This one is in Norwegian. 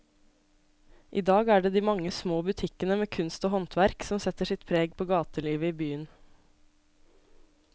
I dag er det de mange små butikkene med kunst og håndverk som setter sitt preg på gatelivet i byen.